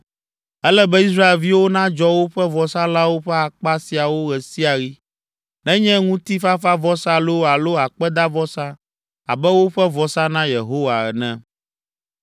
Ele be Israelviwo nadzɔ woƒe vɔsalãwo ƒe akpa siawo ɣe sia ɣi, nenye ŋutifafavɔsa loo alo akpedavɔsa abe woƒe vɔsa na Yehowa ene.